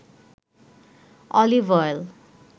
olive oil